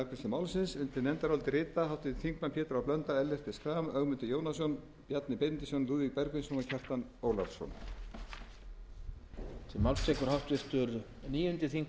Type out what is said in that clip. málsins undir nefndarálitið rita háttvirtir þingmenn pétur h blöndal ellert b schram ögmundur jónasson bjarni benediktsson lúðvík bergvinsson og kjartan ólafsson